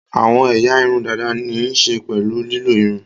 Àwọn ẹ̀yà irun dàda ní í ṣe pẹ̀lú lílọ́ irun